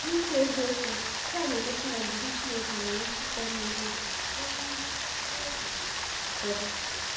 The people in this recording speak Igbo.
N’ikwu eziokwu, nke a na-egosi na ndidi Chineke nwere ike ịga n’ihu ruo n’ihu ruo oge ụfọdụ.